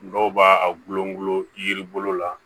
Dɔw b'a a gulon yiri bolo la